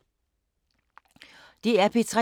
DR P3